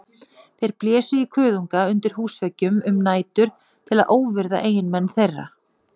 Þeir blésu í kuðunga undir húsveggjum um nætur til að óvirða eiginmenn þeirra.